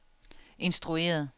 instrueret